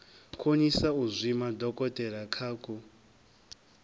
konisa u zwima dokotelakha ku